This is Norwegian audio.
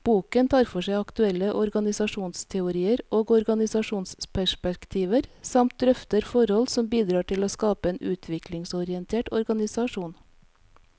Boken tar for seg aktuelle organisasjonsteorier og organisasjonsperspektiver, samt drøfter forhold som bidrar til å skape en utviklingsorientert organisasjon.